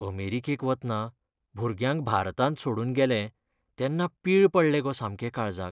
अमेरिकेक वतना भुरग्याक भारतांत सोडून गेलें तेन्ना पीळ पडले गो सामके काळजाक.